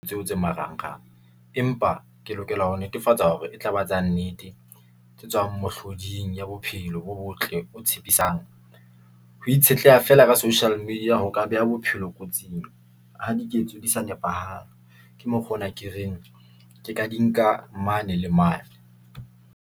Tseo tse marangrang, empa ke lokela ho netefatsa hore e tlaba tsa nnete. Tse tswang mohloding ya bophelo bo botle, o tshepisang. Ho itshetleha fela ka social media ho ka beha bophelo kotsing ha diketso di sa nepahala. Ke mokgwa ona ke reng ke ka di nka mane le mane.